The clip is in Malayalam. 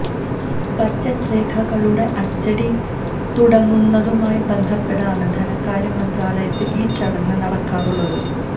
ബജറ്റ് രേഖകളുടെ അച്ചടി തുടങ്ങുന്നതുമായി ബന്ധപ്പെട്ടാണ് ധനകാര്യ മന്ത്രാലയത്തിൽ ഈ ചടങ്ങ് നടക്കാറുള്ളത്